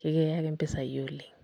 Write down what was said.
kiaki mpisai oleng'.